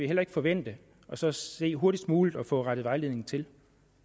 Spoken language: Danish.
heller ikke forvente og så se hurtigst muligt at få rettet vejledningen til